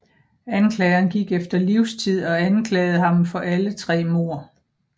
Anklageren gik efter livstid og anklagede ham for alle tre mord